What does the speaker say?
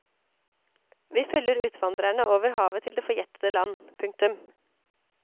Vi følger utvandrerne over havet til det forgjettede land. punktum